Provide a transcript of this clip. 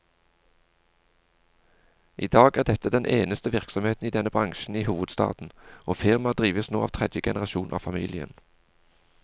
I dag er dette den eneste virksomheten i denne bransjen i hovedstaden, og firmaet drives nå av tredje generasjon av familien.